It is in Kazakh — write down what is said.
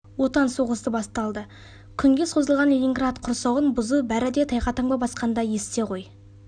отан соғысы басталды күнге созылған ленинград құрсауын бұзу бәрі де тайға таңба басқандай есте ғой